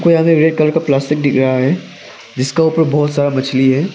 यहां में red colour का प्लास्टिक दिख रहा है जिसका ऊपर बहोत सारा मछली है।